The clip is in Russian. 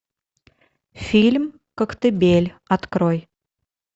фильм коктебель открой